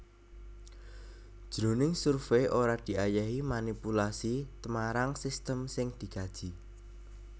Jroning survey ora diayahi manipulasi tmarang sistem sing dikaji